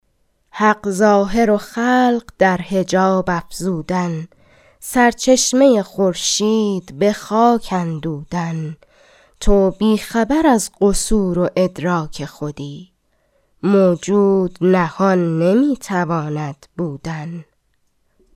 حق ظاهر و خلق در حجاب افزودن سرچشمه خورشید به خاک اندودن تو بی خبر از قصور و ادراک خودی موجود نهان نمی تواند بودن